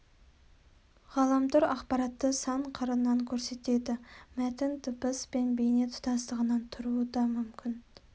ғаламтор ақпаратты сан қырынан көрсетеді мәтін дыбыс пен бейне тұтастығынан тұруы да мүмкін